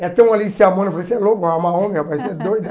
É tão, eu falei, você é louco, arrumar homem, rapaz você é doida.